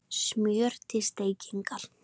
Smjör til steikingar